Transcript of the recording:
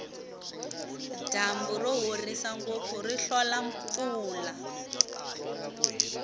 dyambu rohisa ngopfu ri hlola mpfula